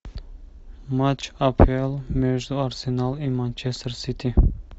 матч апл между арсенал и манчестер сити